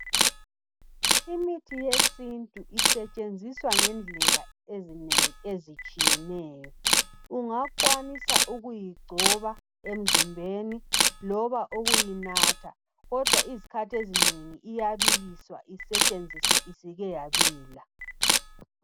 Imithi yesintu isetshenziswa ngendlela ezinengi ezitshiyeneyo. Ungakwanisa ukuyigcoba emzimbeni loba ukuyinatha kodwa izikhathi ezinengi iyabiliswa isetshenziswe isike yabila.